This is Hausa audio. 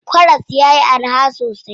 Karas yayi araha sosai.